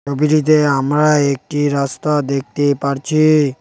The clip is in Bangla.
ছবিটিতে আমরা একটি রাস্তা দেখতে পারছি।